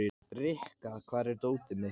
Rikka, hvar er dótið mitt?